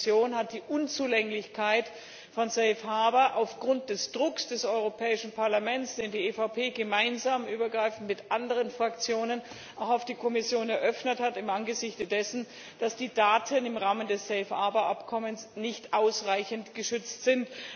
Die Kommission hat die Unzulänglichkeit von Save Harbour eingeräumt aufgrund des Drucks des Europäischen Parlaments, den die EVP auch gemeinsam mit anderen Fraktionen auch auf die Kommission eröffnet hat im Angesichte dessen, dass die Daten im Rahmen des Save Harbour Abkommens nicht ausreichend geschützt sind.